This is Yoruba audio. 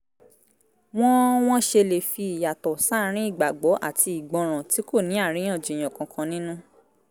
wọ́n wọ́n ṣe lè fi ìyàtọ̀ sáàárín ìgbàgbọ́ àti ìgbọràn tí kò ní àríyànjiyàn kankan nínú